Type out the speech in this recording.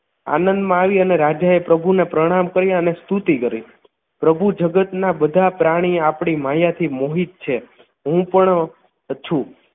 આનંદમાં આવી અને રાજાએ પ્રભુને પ્રણામ કર્યા અને સ્તુતિ કરી પ્રભુ જગતના બધા પ્રાણી આપની માયાથી મોહિત છે હું પણ છું